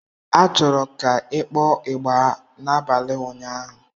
A chọrọ ka ị kpọọ ịgbà n'abalị ụnyaahụ!